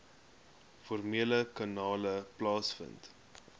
formele kanale plaasvind